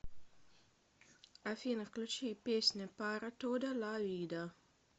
афина включи песня пара тода ла вида